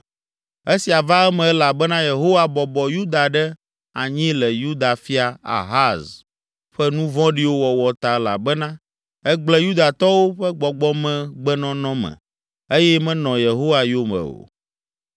Esia va eme elabena Yehowa bɔbɔ Yuda ɖe anyi le Yuda fia, Ahaz ƒe nu vɔ̃ɖiwo wɔwɔ ta elabena egblẽ Yudatɔwo ƒe gbɔgbɔmegbenɔnɔ me eye menɔ Yehowa yome o.